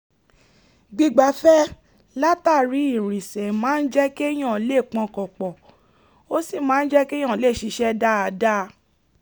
gbígbafẹ́ ĺtàrí ìrìnsẹ̀ máa ń jẹ́ kéèyàn lè pọkàn pọ̀ ó sì máa ń jẹ́ kéèyàn lè ṣiṣẹ́ dáadáa